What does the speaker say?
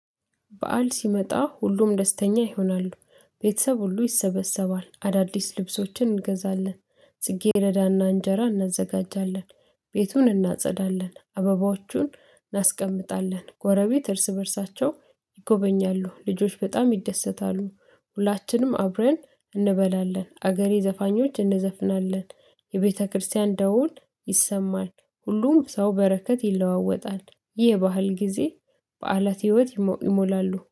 በዓል ሲመጣ ሁሉም ደስተኛ ይሆናሉ። ቤተሰብ ሁሉ ይሰበሰባል አዳዲስ ልብሶችን እንገዛለን። ጽጌሬዳ እና እንጀራ እናዘጋጃለን። ቤቱን እናጸዳለን አበባዎቹን እናስቀምጣለን ጎረቤት እርስ በእርሳቸው ይጎበኛሉ። ልጆች በጣም ይደሰታሉ ሁላችንም አብረን እንበላለን። አገሬ ዘፋኞች እንዘፍናለን። የቤተክርስቲያን ደውል ይሰማል። ሁሉም ሰው በረከት ይለዋወጣል። ይህ የባህል ጊዜ በዓላት ህይወት ይሞላሉ